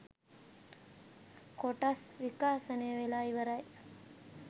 කොටස් ක් විකාශනය වෙලා ඉවරයි